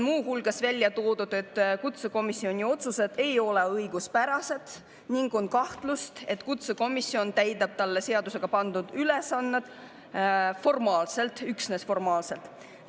Muu hulgas on välja toodud, et kutsekomisjoni otsused ei ole õiguspärased ning on kahtlus, et kutsekomisjon täidab talle seadusega pandud ülesannet üksnes formaalselt.